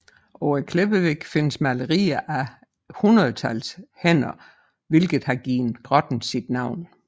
På klippevæggen findes malerier af hundredetals hænder hvilket har givet grotten sit navn